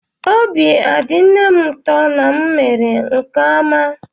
Obi adị nne m ụtọ na m mere nke ọma?